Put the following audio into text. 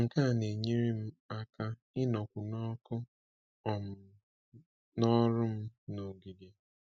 Nke a na-enyere m aka ịnọkwu n’ọkụ um n’ọrụ m n’ogige.